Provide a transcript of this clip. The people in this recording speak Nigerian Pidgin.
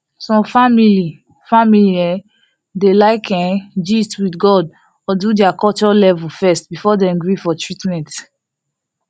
some family family um dey like um gist with god or do their culture level first before dem gree for treatment